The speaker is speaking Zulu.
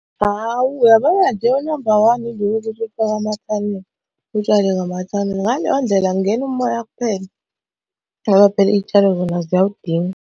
Hhawu uyabona nje unamba one ilo utshale ngamathanela. Ngaleyo ndlela kungena umoya kuphela ngoba phela iy'tshalo zona ziyawudinga.